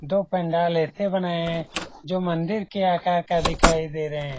दो पंडाल ऐसे बनाये है जो मंदिर के आकार का दिखाई दे रहे है।